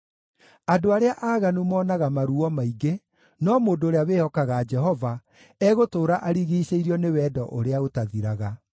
Andũ arĩa aaganu monaga maruo maingĩ, no mũndũ ũrĩa wĩhokaga Jehova egũtũũra arigiicĩirio nĩ wendo ũrĩa ũtathiraga.